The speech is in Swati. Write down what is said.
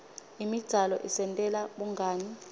imidzalo isentela bungani